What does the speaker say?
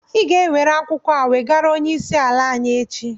Ị ga-enwere akwụkwọ a wegara onyeisi ala anyị échi